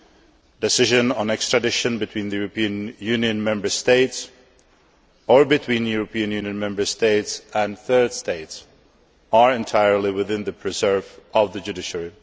A decision on extradition between European Union Member States, or between European Union Member States and third states, are entirely the preserve of the judiciary.